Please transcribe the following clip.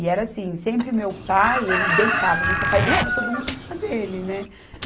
E era assim, sempre meu pai, ele deitava no sofá e deitava todo mundo em cima dele, né?